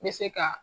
N bɛ se ka